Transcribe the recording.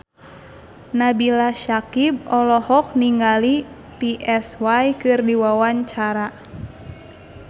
Nabila Syakieb olohok ningali Psy keur diwawancara